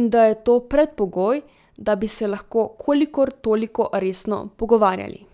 in da je to predpogoj, da bi se lahko kolikor toliko resno pogovarjali.